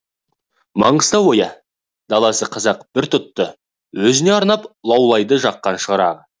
маңғыстау ойы даласы қазақ пір тұтты өзіңе арнап лаулайды жаққан шырағы